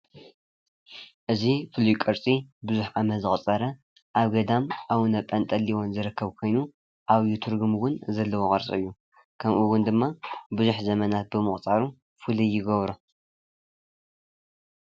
እዚ ፍሉይ ቅርፂ ብዙሕ ዓመት ዘቁፀሪ ኣብ ገዳም ኣቡነ ጲንጤሎን ዝርከብ ኮይኑ ዓብይ ትርጉም ዘለዎ ቅርፂ እዩ። ከም እውን ድማ ብዙሕ ዘበናት ብምቁፃሩ ፍሉይ ይገብሮ፡፡